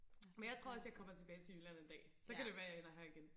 men jeg tror også jeg kommer tilbage til jylland en dag så kan det være jeg ender her igen